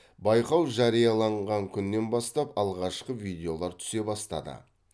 байқау жарияланған күннен бастап алғашқы видеолар түсе бастады